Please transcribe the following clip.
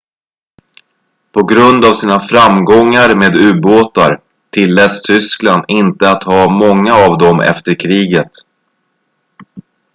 på grund av sina framgångar med ubåtar tilläts tyskland inte att ha många av dem efter kriget